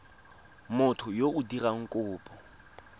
motho yo o dirang kopo